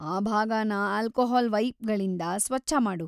ಆ ಭಾಗನ ಅಲ್ಕೋಹಾಲ್‌ ವೈಪ್‌ಗಳಿಂದ ಸ್ವಚ್ಛಮಾಡು.